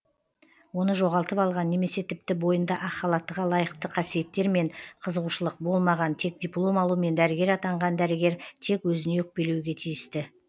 оны жоғалтып алған немесе тіпті бойында ақ халаттыға лайықты қасиеттер мен қызығушылық болмаған тек диплом алумен дәрігер атанған дәрігер тек өзіне өкпелеуге тиісті